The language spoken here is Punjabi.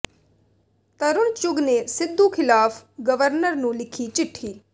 ਤਰੁਣ ਚੁੱਘ ਨੇ ਸਿੱਧੂ ਖਿਲਾਫ ਗਰਵਰਨਰ ਨੂੰ ਲਿੱਖੀ ਚਿਠੀ